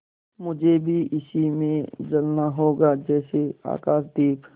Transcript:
मुझे भी इसी में जलना होगा जैसे आकाशदीप